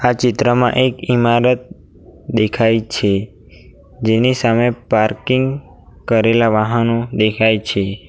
આ ચિત્રમાં એક ઈમારત દેખાય છે જેની સામે પાર્કિંગ કરેલા વાહનો દેખાય છે.